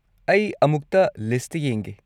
ꯑꯩ ꯑꯃꯨꯛꯇ ꯂꯤꯁꯠꯇ ꯌꯦꯡꯒꯦ꯫